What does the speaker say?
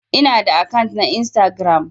Ina da akant na Instagram.